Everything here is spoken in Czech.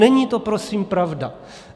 Není to prosím pravda.